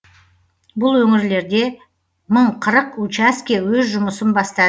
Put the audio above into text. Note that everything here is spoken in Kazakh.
бұл өңірлерде мың қырық учаске өз жұмысын баста